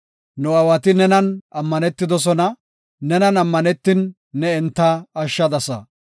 Nu aawati nenan ammanetidosona; nenan ammanetin, ne enta ashshadasa.